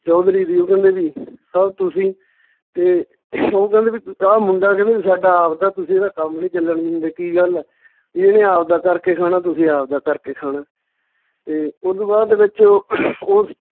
ਚੌਧਰੀ ਦੀ ਓਹ ਕਹਿੰਦੇ ਵੀ sir ਤੁਸੀਂ ਤੇ ਓਹ ਕਹਿੰਦੇ ਵੀ ਆਹ ਮੁੰਡਾ ਕਹਿੰਦਾ ਵੀ ਸਾਡਾ ਆਵਦਾ, ਤੁਸੀਂ ਇਹਦਾ ਕੰਮ ਨੀ ਚੱਲਣ ਦਿੰਦੇ, ਕੀ ਗੱਲ ਆ ਵੀ ਇਹਨੇ ਆਵਦਾ ਕਰਕੇ ਖਾਣਾ, ਤੁਸੀਂ ਆਵਦਾ ਕਰਕੇ ਖਾਣਾ ਤੇ ਓਦੂ ਬਾਅਦ ਦੇ ਵਿੱਚ ਉਹ